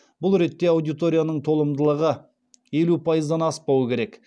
бұл ретте аудиторияның толымдылығы елу пайыздан аспауы керек